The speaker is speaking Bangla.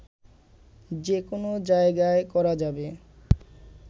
যে কোন জায়গায় করা যাবে